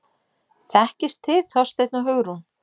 Þekkist þið Þorsteinn og Hugrún?